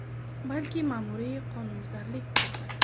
Balki, ma’muriy qonunbuzarlik bordir.